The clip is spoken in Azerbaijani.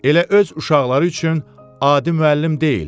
Elə öz uşaqları üçün adi müəllim deyil.